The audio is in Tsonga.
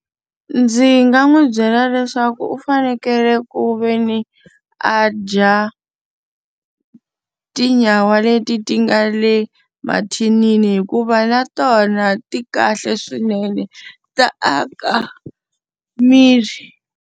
Ndzi nga n'wi byela leswaku u fanekele ku ve ni a dya tinyawa leti ti nga le mathinini hikuva na tona ti kahle swinene, ta aka miri.